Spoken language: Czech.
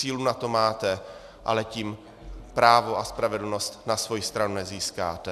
Sílu na to máte, ale tím právo a spravedlnost na svoji stranu nezískáte.